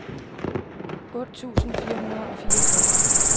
otte tusind fire hundrede og fireogfyrre